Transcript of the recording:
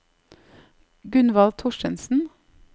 Gunvald Thorstensen